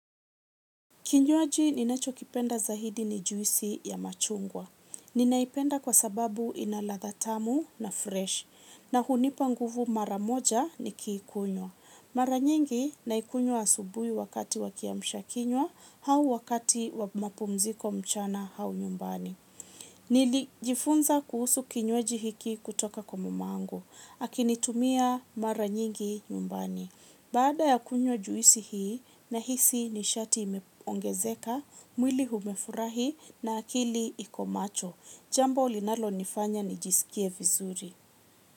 Kinywaji ninachokipenda zaidi ni juisi ya machungwa. Ninaipenda kwa sababu ina ladha tamu na fresh. Na hunipa nguvu mara moja nikikunywa. Mara nyingi naikunywa asubui wakati wa kiamsha kinywa au wakati wa mapumziko mchana au nyumbani. Nilijifunza kuhusu kinywaji hiki kutoka kwa mamangu. Akinitumia mara nyingi nyumbani. Baada ya kunywa juisi hii nahisi ni shati imeongezeka, mwili umefurahi na akili iko macho. Jambo linalonifanya nijisikie vizuri.